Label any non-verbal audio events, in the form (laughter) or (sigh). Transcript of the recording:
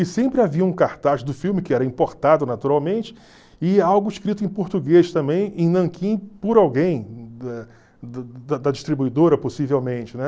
E sempre havia um cartaz do filme, que era importado naturalmente, e algo escrito em português também, em nanquim, por alguém (unintelligible) da distribuidora possivelmente, né?